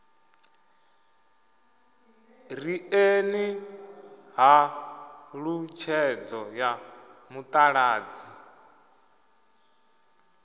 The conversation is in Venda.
ri ṋeeni ṱhalutshedzo ya mutaladzi